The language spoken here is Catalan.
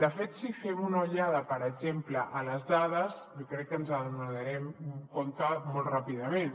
de fet si fem una ullada per exemple a les dades jo crec que ens n’adonarem molt ràpidament